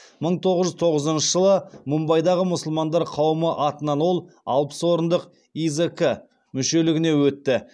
мың тоғыз жүз тоғызыншы жылы мумбайдағы мұсылмандар қауымы атынан ол алпыс орындық изк мүшелігіне өтті